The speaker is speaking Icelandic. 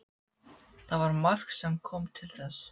Það var margt sem kom til þess.